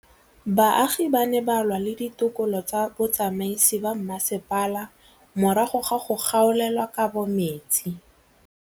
Baagi ba ne ba lwa le ditokolo tsa botsamaisi ba mmasepala morago ga go gaolelwa kabo metsi